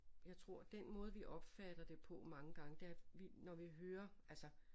Jeg tror den måde vi opfatter det på mange gange det er vi når vi hører altså